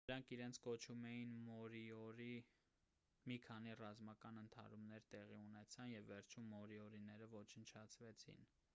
նրանք իրենց կոչում էին մորիորի մի քանի ռազմական ընդհարումներ տեղի ունեցան և վերջում մորիորիները ոչնչացվեցին